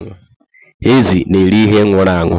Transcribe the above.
Ezi na eri ihe nwụrụ anwụ